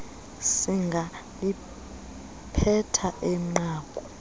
singaliphetha eh nqaku